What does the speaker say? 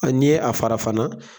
A n'i ye a fara fana.